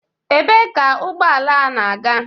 Ebee ka ụgbọala a na-aga?